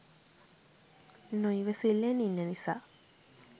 නොයිවසිල්ලෙන් ඉන්න නිසා